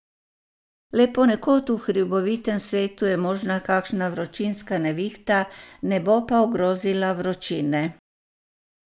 Le ponekod v hribovitem svetu je možna kakšna vročinska nevihta, ne bo pa ogrozila vročine.